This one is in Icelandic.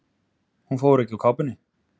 Hún fór ekki úr kápunni.